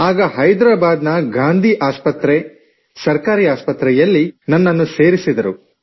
ಆಗ ಹೈದ್ರಾಬಾದ್ ನ ಗಾಂಧಿ ಆಸ್ಪತ್ರೆ ಸರ್ಕಾರಿ ಆಸ್ಪತ್ರೆಯಲ್ಲಿ ನನ್ನನ್ನು ಸೇರಿಸಿದರು